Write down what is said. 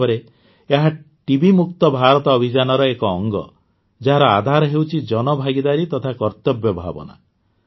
ବାସ୍ତବରେ ଏହା ଟିବି ମୁକ୍ତ ଭାରତ ଅଭିଯାନର ଏକ ଅଙ୍ଗ ଯାହାର ଆଧାର ହେଉଛି ଜନଭାଗିଦାରୀ ତଥା କର୍ତ୍ତବ୍ୟ ଭାବନା